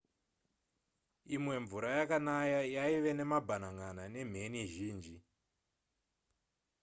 imwe mvura yekanaya yaive nemabhanan'ana nemheni zhinji